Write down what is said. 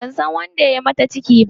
Ban san wanda ya yi mata ciki ba.